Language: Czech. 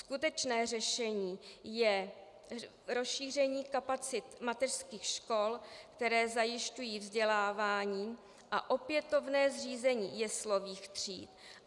Skutečné řešení je rozšíření kapacit mateřských škol, které zajišťují vzdělávání, a opětovné zřízení jeslových tříd.